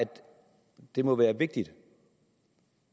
det må være vigtigt